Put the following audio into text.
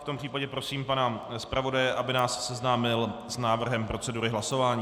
V tom případě prosím pana zpravodaje, aby nás seznámil s návrhem procedury hlasování.